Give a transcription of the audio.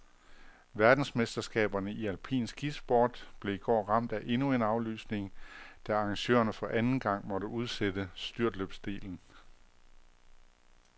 Verdensmesterskaberne i alpin skisport blev i går ramt af endnu en aflysning, da arrangørerne for anden gang måtte udsætte styrtløbsdelen.